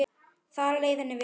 Þar leið henni vel.